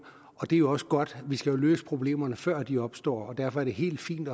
og det er jo også godt vi skal løse problemerne før de opstår og derfor er det helt fint